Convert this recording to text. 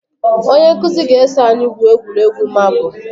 Onye nkụzi ga eso anyị gwuoọ egwuregwu marbụ.